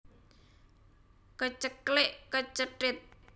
Keceklek kecethit